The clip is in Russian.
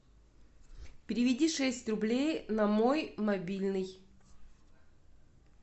переведи шесть рублей на мой мобильный